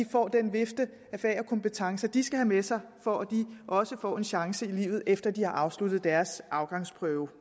får den vifte af fag og kompetencer de skal have med sig for at de også får en chance i livet efter de har afsluttet deres afgangsprøve